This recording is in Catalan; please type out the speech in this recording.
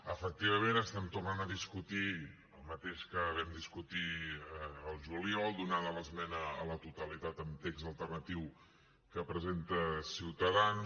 efectivament estem tornant a discutir el mateix que vam discutir al juliol donada l’esmena a la totalitat amb text alternatiu que presenta ciutadans